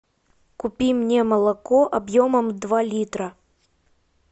купи мне молоко объемом два литра